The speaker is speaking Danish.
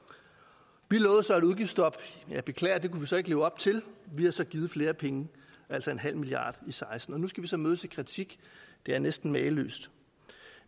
vi lovede så et udgiftsstop jeg beklager at det kunne vi så ikke leve op til vi har så givet flere penge altså en halv milliard i seksten nu skal vi så mødes af kritik det er næsten mageløst